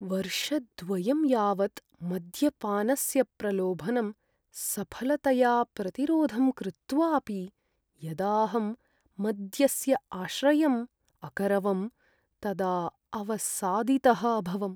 वर्षद्वयं यावत् मद्यपानस्य प्रलोभनं सफलतया प्रतिरोधं कृत्वापि यदाहं मद्यस्य आश्रयम् अकरवं तदा अवसादितः अभवम्।